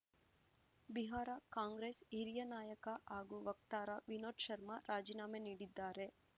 ಬಿಹಾರ ಕಾಂಗ್ರೆಸ್ ಹಿರಿಯ ನಾಯಕ ಹಾಗೂ ವಕ್ತಾರ ವಿನೋದ್ ಶರ್ಮಾ ರಾಜೀನಾಮೆ ನೀಡಿದ್ದಾರೆ